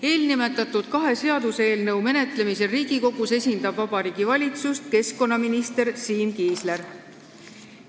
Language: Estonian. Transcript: Eelnimetatud kahe seaduseelnõu menetlemisel Riigikogus esindab Vabariigi Valitsust keskkonnaminister Siim Kiisler.